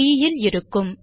3 இல் இருக்கும்